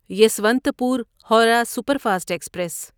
Yesvantpur Howrah superfast express